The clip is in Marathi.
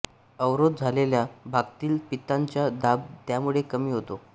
अवरोध झालेल्या भागतील पित्ताचा दाब त्यामुळे कमी होतो